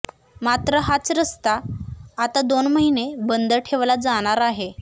मात्र हाच रस्ता आता दोन महिने बंद ठेवला जाणार आहे